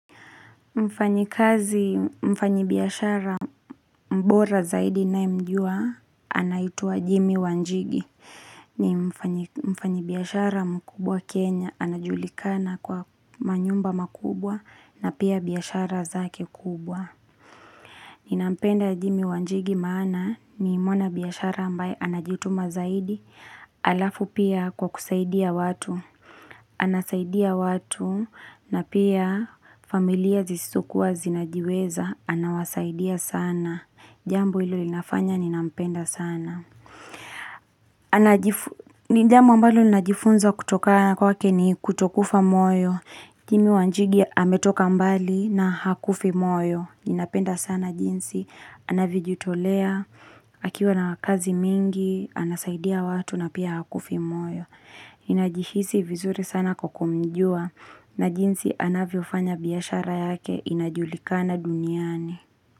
Mfanyikazi, mfanyibiashara bora zaidi ninayemjua anaitwa Jimmy Wanjigi ni mfanyibiashara mkubwa Kenya anajulikana kwa manyumba makubwa na pia biashara zake kubwa. Ninampenda Jimmy Wanjigi maana ni mwana biashara ambaye anajituma zaidi alafu pia kwa kusaidia watu. Anasaidia watu na pia familia zizokuwa zinajiweza anawasaidia sana. Jambo hilo linafanya ninampenda sana. Hilo najifunza kutoka kwake ni kutokufa moyo. Jimmy Wanjigi ametoka mbali na hakufi moyo. Ninapenda sana jinsi. Anavyojitolea akiwa na kazi mingi. Anasaidia watu na pia hakufi moyo. Najihisi vizuri sana kwa kumjua na jinsi anavyofanya biashara yake inajulikana duniani.